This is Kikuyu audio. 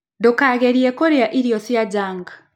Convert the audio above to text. Ndũkagerĩe kũrĩa irio cia jũnk